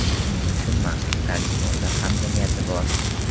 Buning uchun maxsus tarjimonlar hamjamiyati bor.